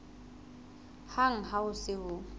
hang ha ho se ho